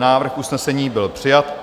Návrh usnesení byl přijat.